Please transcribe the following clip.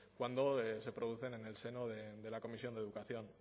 cuando se producen en el seno de la comisión de educación